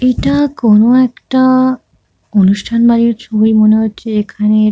এটা কোনো একটা-আ অনুষ্ঠান বাড়ির ছবি মনে হচ্ছে এখানে--